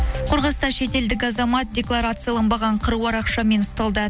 қорғаста шетелдік азамат декларацияланбаған қыруар ақшамен ұсталды